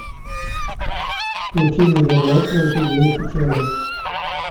включи невероятно худеющий человек